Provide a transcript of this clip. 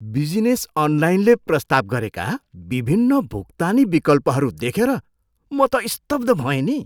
Business अनलाइनले प्रस्ताव गरेका विभिन्न भुक्तानी विकल्पहरू देखेर म त स्तब्ध भएँ नि।